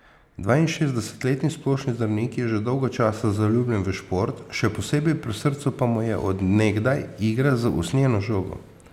Dvainšestdesetletni splošni zdravnik je že dolgo časa zaljubljen v šport, še posebej pri srcu pa mu je od nekdaj igra z usnjeno žogo.